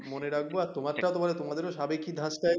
মনে রাখবো তোমারটা তোমার তোমাদেরও সাবেকি ধাঁচটায়